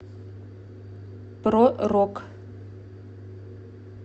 про рок